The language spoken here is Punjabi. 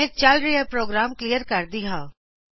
ਮੈਂ ਚਲ ਰਿਹਾ ਪ੍ਰੋਗਰਾਮ ਕਲੀਅਰ ਕਰਾਂ ਗੀ